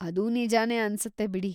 ಅದೂ ನಿಜಾನೇ ಅನ್ಸತ್ತೆ ಬಿಡಿ.